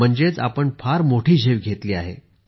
म्हणजेच आपण फार मोठी झेप घेतली आहे